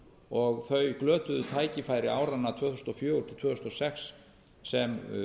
og þau glötuðu tækifæri áranna tvö þúsund og fjögur til tvö þúsund og sex sem